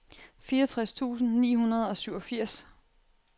fireogtres tusind ni hundrede og syvogfirs